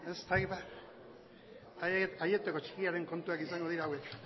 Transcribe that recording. ez dakit ba aieteko txikiaren kontuak izango dira hauek